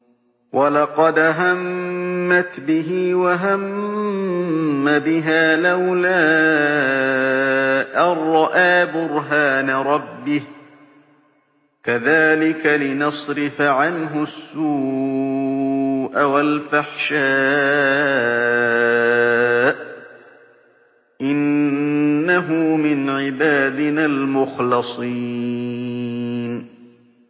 وَلَقَدْ هَمَّتْ بِهِ ۖ وَهَمَّ بِهَا لَوْلَا أَن رَّأَىٰ بُرْهَانَ رَبِّهِ ۚ كَذَٰلِكَ لِنَصْرِفَ عَنْهُ السُّوءَ وَالْفَحْشَاءَ ۚ إِنَّهُ مِنْ عِبَادِنَا الْمُخْلَصِينَ